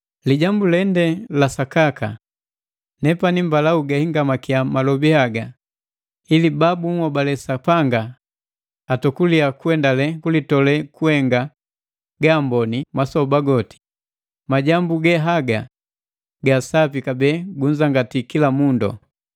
Lijambu lende la sakaka. Nepani mbala ugahingamakia malobi haga ili ba bunhobali Sapanga atokulia kuendale kulitole kuhenga gaamboni masoba goti. Majambu ge haga ga sapi kabee gunzangati kila mundu.